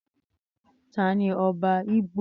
Tani ọba igbo?